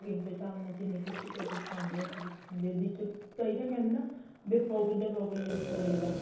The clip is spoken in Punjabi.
pocket ਦੇ ਹਿਸਾਬ ਨਾਲ ਜਿੰਨੀ ਕ ਤੁਸੀਂ pocket ਚਾਉਂਦੇ ਓ ਦੇ ਵਿੱਚ ਕਈ ਤਾਂ ਕਹਿੰਦੇ ਏ ਨਾ ਬੀ pocket ਦੇ pocket ਦੇ ਵਿੱਚ ਰਹੇ ਬੱਸ